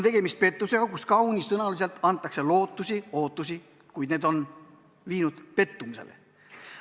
Tegemist on pettusega, kus kaunisõnaliselt antakse lootusi, kuid need on viinud pettumusele.